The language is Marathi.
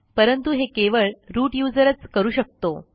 परंतु हे केवळ रूट userच करू शकतो